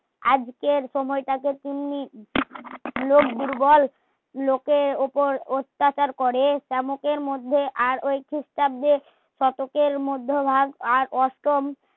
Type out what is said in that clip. আজকের সময়টাতে পূর্ণি লোক দুর্বল লোকের ওপর অত্যাচার করে চামকের মধ্যে আর ওই ক্রিস্টাব্দে শতকের মধ্যে আর অষ্টম